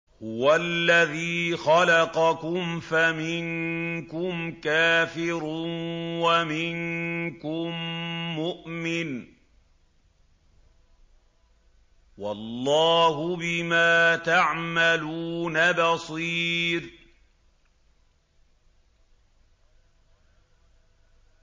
هُوَ الَّذِي خَلَقَكُمْ فَمِنكُمْ كَافِرٌ وَمِنكُم مُّؤْمِنٌ ۚ وَاللَّهُ بِمَا تَعْمَلُونَ بَصِيرٌ